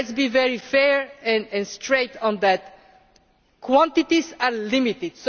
But let us be very fair and straight on that quantities are limited.